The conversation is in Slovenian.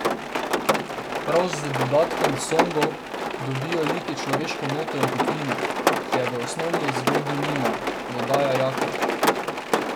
Prav z dodatkom songov dobijo liki človeško noto in toplino, ki je v osnovni zgodbi nimajo, dodaja Jaklič.